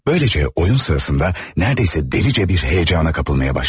Böyləcə oyun sırasında nərdeyəsə dəlicə bir həyəcana qapılmaya başladım.